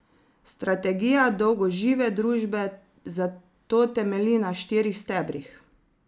Strategija dolgožive družbe zato temelji na štirih stebrih.